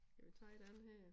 Skal vi tage den her